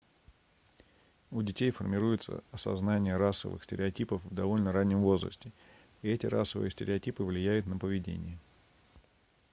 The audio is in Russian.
у детей формируется осознание расовых стереотипов в довольно раннем возрасте и эти расовые стереотипы влияют на поведение